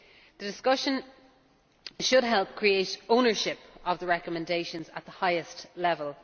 The discussion should help create ownership of the recommendations at the highest level.